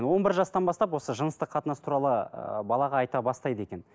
он бір жастан бастап осы жыныстық қатынас туралы ыыы балаға айта бастайды екен